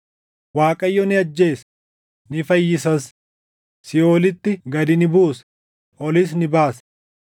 “ Waaqayyo ni ajjeesa; ni fayyisas; siiʼoolitti gad ni buusa; olis ni baasa.